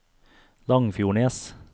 Langfjordnes